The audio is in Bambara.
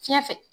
Fiɲɛ fɛ